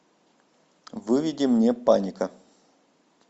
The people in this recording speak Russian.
выведи мне паника